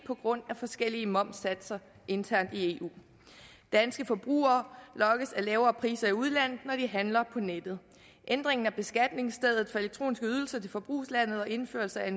på grund af forskellige momssatser internt i eu danske forbrugere lokkes af lavere priser i udlandet når de handler på nettet ændringen af beskatningsstedet for elektroniske ydelser til forbrugslandet og indførelse af